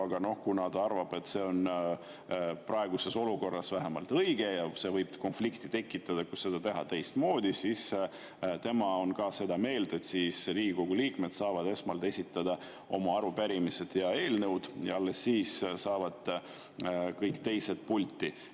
Aga ta arvab, et see on vähemalt praeguses olukorras õige, ja kuna konflikti võib tekitada see, kui seda teha teistmoodi, siis tema on seda meelt, et Riigikogu liikmed saavad esmalt esitada oma arupärimised ja eelnõud ja alles siis saavad kõik teised pulti.